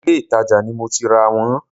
Ìlé-ìtajà ni mo ti rà wọ́n